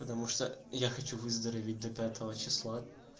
потому что я хочу выздороветь до пятого числа